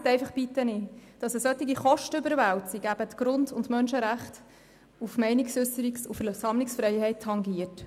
Vergessen Sie bitte nicht, dass solche Kostenüberwälzungen die Grund- und Menschenrechte auf Meinungsäusserung und Versammlungsfreiheit tangieren.